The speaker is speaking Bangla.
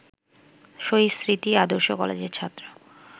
শহীদ স্মৃতি আদর্শ কলেজের ছাত্র